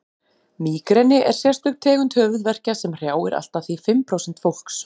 mígreni er sérstök tegund höfuðverkja sem hrjáir allt að því fimm prósent fólks